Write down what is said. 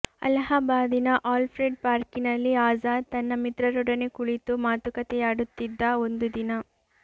ಅಲಹಾಬಾದಿನ Alfred ಪಾರ್ಕಿನಲ್ಲಿ ಆಜಾದ್ ತನ್ನ ಮಿತ್ರರೊಡನೆ ಕುಳಿತು ಮಾತುಕತೆಯಾಡುತ್ತಿದ್ದ ಒಂದು ದಿನ